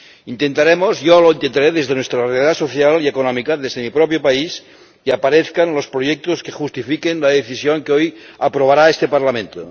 Intentaremos —yo lo intentaré— desde nuestra realidad social y económica, desde mi propio país, que aparezcan los proyectos que justifiquen la Decisión que hoy aprobará este Parlamento.